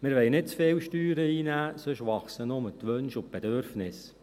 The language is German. Wir wollen nicht zu viele Steuern einnehmen, sonst wachsen nur die Wünsche und Bedürfnisse.